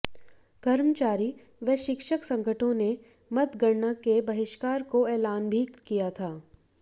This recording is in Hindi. कर्मचारी व शिक्षक संगठनों ने मतगणना के बहिष्कार को एलान भी किया था